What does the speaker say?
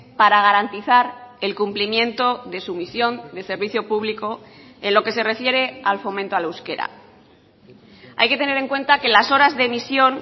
para garantizar el cumplimiento de su misión del servicio público en lo que se refiere al fomento al euskera hay que tener en cuenta que las horas de emisión